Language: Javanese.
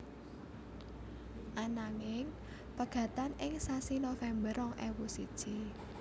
Ananging pegatan ing sasi November rong ewu siji